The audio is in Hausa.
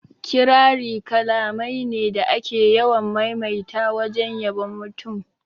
Kirari kalamai ne da ake yawan maimaita wajen yabon mutum